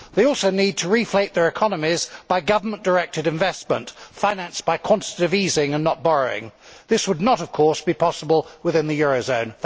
They also need to reflate their economies by government directed investment financed by quantitative easing and not borrowing. This would not of course be possible within the eurozone.